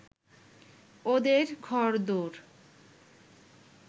ওদের ঘরদোর